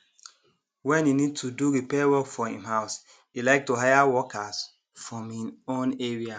when e need to do repair work for him house e like to hire workers from him own area